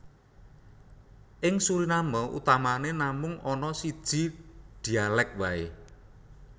Ing Suriname utamané namung ana siji dhialèk waé